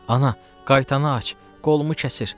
Ana, qaytanı aç, qolumu kəsir.